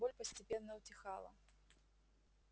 боль постепенно утихала